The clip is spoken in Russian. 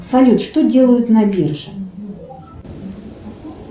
салют что делают на бирже